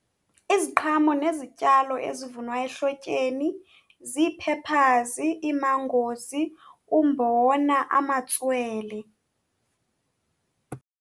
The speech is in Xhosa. Iziqhamo nezityalo ezivunwa ehlotyeni zii-peppers, ii-mangos, umbona, amatswele.